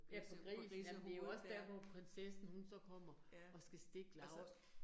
Ja på grisen, jamen det jo også dér, hvor prinsessen hun så kommer og skal stikke Laura